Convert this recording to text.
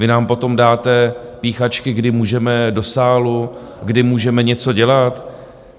Vy nám potom dáte píchačky, kdy můžeme do sálu, kdy můžeme něco dělat?